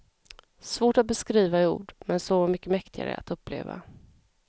Svårt att beskriva i ord, men så mycket mäktigare att uppleva.